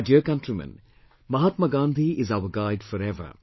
My dear countrymen, Mahatma Gandhi is our guide forever